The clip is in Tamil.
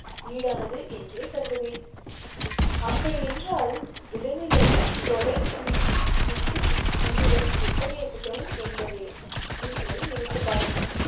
ஈடானது என்றே கருதுவேன். அப்படி என்றால் விலங்குகளை தொலை புரியும் வித்து உண்ணுதல் எத்தகைய குற்றம் என்பதை நீங்களே நினைத்துப் பாருங்கள்.